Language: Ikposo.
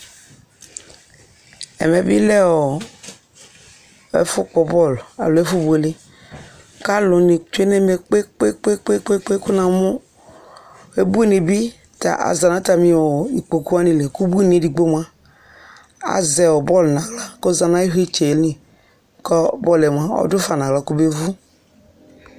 ɛmɛ bi lɛ ɛfu kpɔ bɔlu alo ɛfu buéléṣl ka aluni tsué nɛmɛ kpékpékpé ku namu ubuni bi za natami ikpokpu wani li ku ubuni édigbo mua azɛ bɔlu nu axlă kɔza nayu vlitsɛ li kɔ bɔluɛ mua ɔdu fă na axlă kɔbé vu